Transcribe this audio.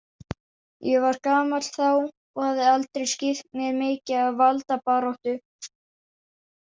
Ég var gamall þá og hafði aldrei skipt mér mikið af valdabaráttu.